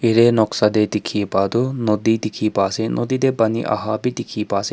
yatae noksa tae dikhipa toh nodi dikhipa ase nodi tae pani aha bi dikhi pa ase.